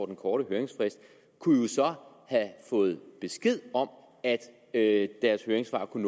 den korte høringsfrist kunne jo så have fået besked om at deres høringssvar kunne